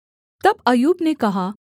तब अय्यूब ने कहा